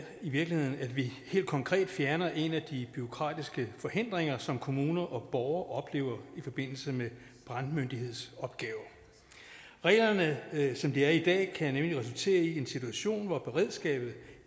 i virkeligheden at vi helt konkret fjerner en af de bureaukratiske forhindringer som kommuner og borgere oplever i forbindelse med brandmyndighedsopgaver reglerne kan som de er i dag nemlig resultere i en situation hvor beredskabet